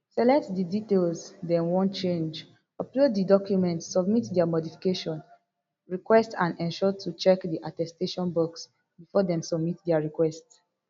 select di details dem wan change upload di documents submit dia modification request and ensure to check di attestation box bifor dem submit dia request